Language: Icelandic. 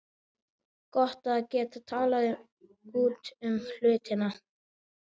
Gott að geta talað út um hlutina.